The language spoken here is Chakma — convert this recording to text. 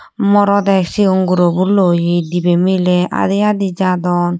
morode siyon gurobo loye dibay milay adi adi jadon.